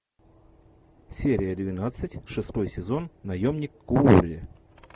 серия двенадцать шестой сезон наемник куорри